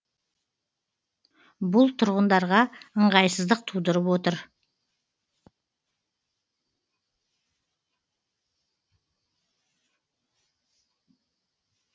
бұл тұрғындарға ыңғайсыздық тудырып отыр